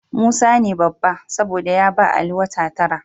Musa ne babba, saboda ya ba Ali wata tara.